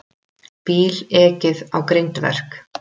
Bíl ekið á grindverk